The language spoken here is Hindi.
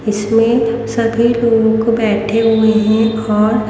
इसमें सभी लोग बैठे हुए हैं और--